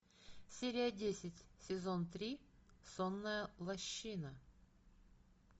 серия десять сезон три сонная лощина